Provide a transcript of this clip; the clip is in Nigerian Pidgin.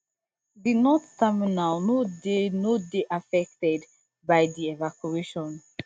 di north terminal no dey no dey affected by di evacuation